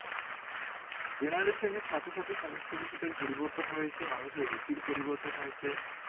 generation সাথে সাথে সমস্ত কিছুটার পরিবর্তন হয়েছে৷ মানুষের রুচির পরিবর্তন হয়েছে৷